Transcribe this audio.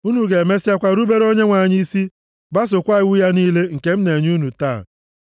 Unu ga-emesịakwa rubere Onyenwe anyị isi, gbasookwa iwu ya niile nke m na-enye unu taa.